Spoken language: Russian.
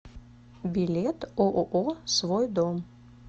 билет ооо свой дом